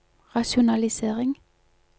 rasjonalisering